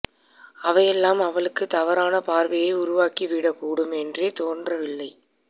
அவையெல்லாம் அவளுக்கு தவறான பார்வையை உருவாக்கி விட கூடும் என்றே தோன்றவில்லை